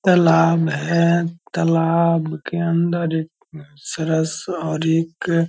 तालाब है तालाब के अंदर एक सरस और एक --